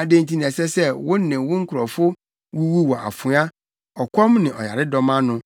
Adɛn nti na ɛsɛ sɛ wo ne wo nkurɔfo wuwu wɔ afoa, ɔkɔm ne ɔyaredɔm ano,